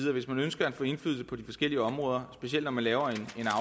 at hvis man ønsker at få indflydelse på de forskellige områder specielt når man laver